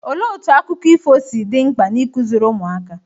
Olee otú akụkọ ifo si dị mkpa na ikụziri ụmụaka?